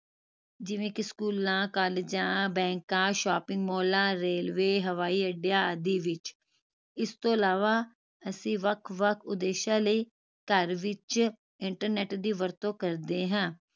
ਜਿਵੇਂ ਕਿ ਸਕੂਲਾਂ ਕਾਲਜਾਂ ਬੈਂਕਾਂ shopping ਮਾਲਾਂ railway ਹਵਾਈ ਅੱਡੇਆਂ ਆਦਿ ਵਿਚ ਇਸ ਤੋਂ ਅਲਾਵਾ ਅਸੀਂ ਵੱਖ ਵੱਖ ਉਦੇਸ਼ਾਂ ਲਈ ਘਰ ਵਿਚ internet ਦੀ ਵਰਤੋਂ ਕਰਦੇ ਹਾਂ